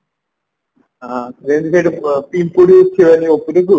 ହଁ ଯେମତି ସେଠି ପିମ୍ପୁଡି ଉଠିବନି ଉପରକୁ